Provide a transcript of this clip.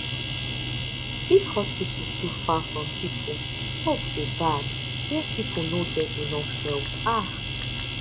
if hospital too far from people health go bad where people no get enough help ahh